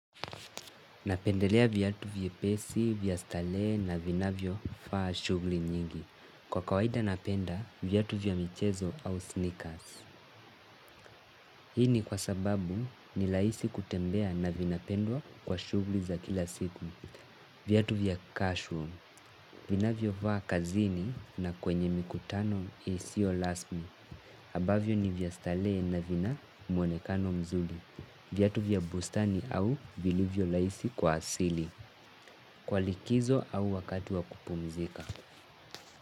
Napendelea viatu vye pesi, vya starehe na vinavyo faa shughuli nyingi. Kwa kawaida napenda, viatu vya michezo au sneakers. Hii ni kwa sababu ni rahisi kutembea na vinapendwa kwa shughuli za kila siku. Viatu vya cashroom, ninavyo vaa kazini na kwenye mikutano isio rasmi. Ambavyo ni vya starehe na vina muonekano mzuri. Viatu vya bustani au vilivyo rahisi kwa asili. Kwa likizo au wakati wa kupumzika.